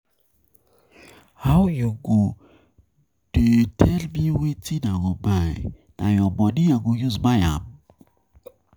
How you go dey tell me wetin I go buy, na your money I go use buy am?